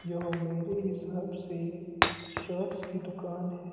यह मेरी हिसाब से शर्टस की दुकान है।